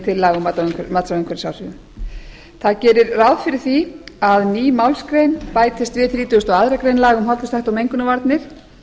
til laga um mat á umhverfisáhrifum það gerir ráð fyrir því að ný málsgrein bætist við þrítugustu og aðra félaga um hollustuhætti og mengunarvarnir